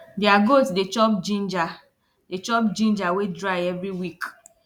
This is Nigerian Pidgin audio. their goat dey chop ginger dey chop ginger wey dry every week